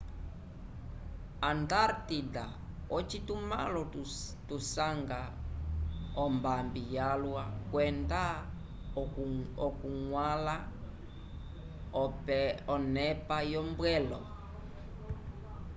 antartida ocitumãlo tusanga ombambi yalwa kwenda okuñgwãla onepa yombwelo